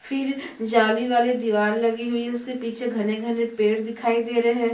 फिर जाली वाली दिवार लगी हुई है उसके पीछे घने-घने पेड़ दिखाई दे रहे है।